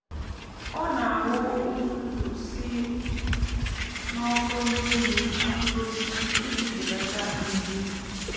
ọ na-awụ uzuzu si n’ọkụ n’elu mkpụrụ osisi iji belata nje.